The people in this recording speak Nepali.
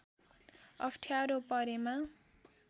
अप्ठ्यारो परेमा